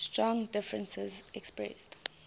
strong differences expressed